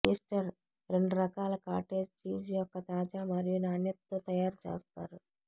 Easter రెండు రకాల cottage cheese యొక్క తాజా మరియు నాణ్యత తో తయారుచేస్తారు